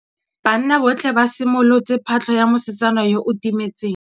Banna botlhê ba simolotse patlô ya mosetsana yo o timetseng.